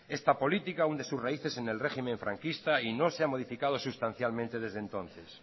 esta política hunde sus raíces en el régimen franquista y no se ha modificado sustancialmente desde entonces